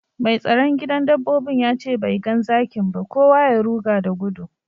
Mai tsaron gidan dabbobin ya ce bai gan zakin ba, kowa ya ruga da gudu.